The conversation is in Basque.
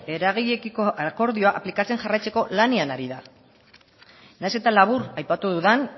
eragileekiko akordioa aplikatzen jarraitzeko lanean ari da nahiz eta labur aipatu dudan